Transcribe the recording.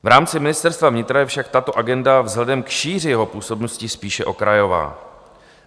V rámci Ministerstva vnitra je však tato agenda vzhledem k šíři jeho působnosti spíše okrajová.